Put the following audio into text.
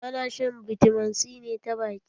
Ana shan bitamin c ne ta baki.